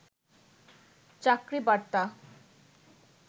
চাকরি বার্তা